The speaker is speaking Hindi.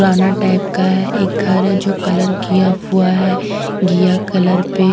पुराना टाइप का है एक घर है जो कलर किया हुआ है घिया कलर पे--